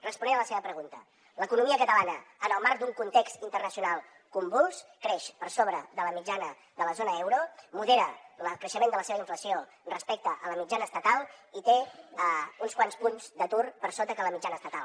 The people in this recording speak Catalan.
responent a la seva pregunta l’economia catalana en el marc d’un context internacional convuls creix per sobre de la mitjana de la zona euro modera el creixement de la seva inflació respecte a la mitjana estatal i té uns quants punts d’atur per sota de la mitjana estatal